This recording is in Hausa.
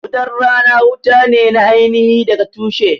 Wutan rana wuta ne na aini hi daga tushe